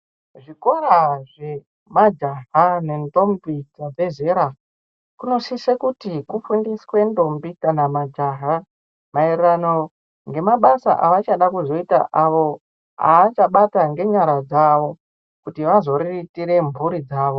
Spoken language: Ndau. Zvikora zvemajaha nendombi dzabve zera, kunosise kuti kufundiswe ndombi kana majaha, maererano ngemabasa avachada kuzoita, avo aachabata ngenyara dzavo ,kuti vazoriritire mphuri dzavo.